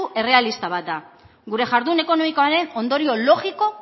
errealista bat da gure jardun ekonomikoaren ondorio logiko